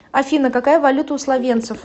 афина какая валюта у словенцев